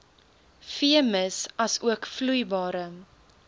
veemis asook vloeibare